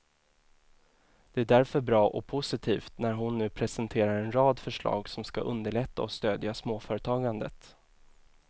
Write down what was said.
Det är därför bra och positivt när hon nu presenterar en rad förslag som skall underlätta och stödja småföretagandet.